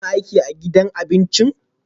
Kuna aiki a gidan abincin?